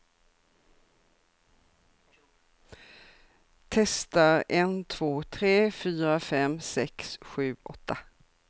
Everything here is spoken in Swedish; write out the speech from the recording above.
Testar en två tre fyra fem sex sju åtta.